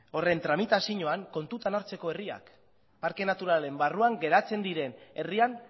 horren tramitazioan kontutan hartzeko herriak parke naturalaren barruan geratzen diren herrian